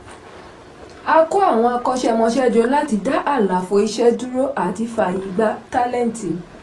a kó àwọn akọ́ṣẹ́mọsẹ́ jọ láti dá àlàfo iṣẹ́ dúró àti fáayè gbà tálẹ́ǹtì.